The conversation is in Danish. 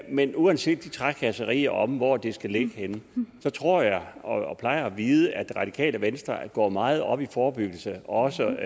men uanset de trakasserier om hvor det skal ligge henne så tror jeg og og plejer at vide at det radikale venstre går meget op i forebyggelse og også